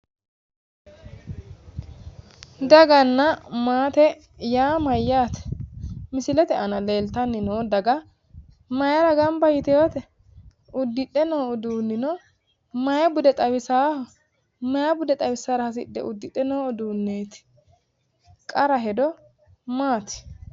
Daganna maate yaa mayyate? Misilete aana noo daga mayiira gamba yitewoote? Uddidhe noo uduunnino maayi bude xawisaaho? Maayi bude xawissara hasishe udiidhe no udunneeti? Qara hedo maati?